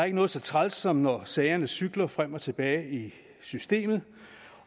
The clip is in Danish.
ikke noget så træls som når sagerne cykler frem og tilbage i systemet